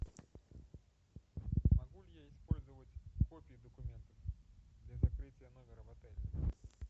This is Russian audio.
могу ли я использовать копии документов для закрытия номера в отеле